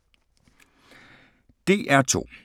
DR2